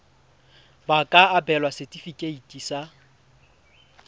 ba ka abelwa setefikeiti sa